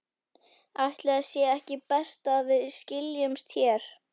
Ætli sé ekki best að við skiljumst hér.